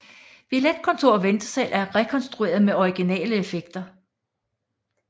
Billetkontor og ventesal er rekonstrueret med originale effekter